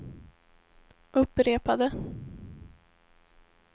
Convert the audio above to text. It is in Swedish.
upprepade